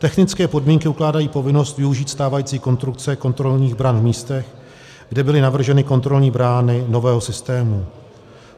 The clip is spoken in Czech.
Technické podmínky ukládají povinnost využít stávající konstrukce kontrolních bran v místech, kde byly navrženy kontrolní brány nového systému.